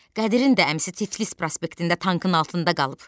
Qədirin də əmisi Tiflis prospektində tankın altında qalıb.